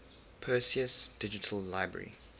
perseus digital library